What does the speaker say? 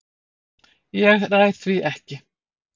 Ég ræð því ekki.